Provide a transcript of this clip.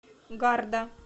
гарда